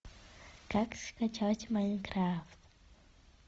как скачать майнкрафт